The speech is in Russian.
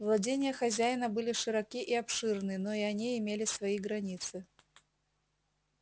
владения хозяина были широки и обширны но и они имели свои границы